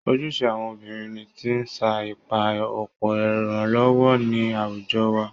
Ojúṣe àwọn obìnrin ti sa ipá ọ̀pọ̀ ìrànlọ́wọ́ ní àwùjọ wa